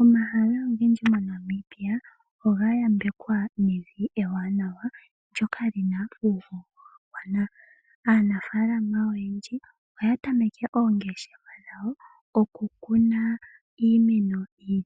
Omahala ogendji moNamibia ogayambekwa nevi ewanawa ndyoka lina uhoho. Aanafaalama oyendji oyatameke oongeshefa okukuna iimeno yi